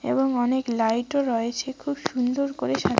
এবং অনেক লাইটও রয়েছে খুব সুন্দর করে সাজ--